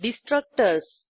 destructors